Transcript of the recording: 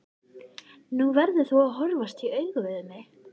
Nú verður þú að horfast í augu við mig.